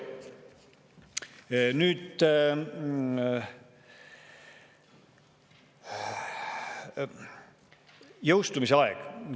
Nüüd jõustumise aeg.